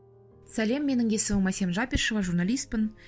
сәлем менің есімім әсем жапишева журналиспін